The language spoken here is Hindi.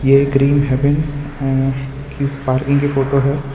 ये ग्रीन हेवन अ कि पार्किंग की फोटो है।